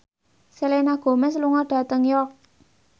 Selena Gomez lunga dhateng York